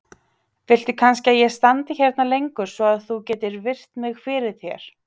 Viltu kannski að ég standi hérna lengur svo að þú getir virt mig fyrir þér?